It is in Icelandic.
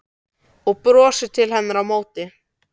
Og brosir til hennar á móti.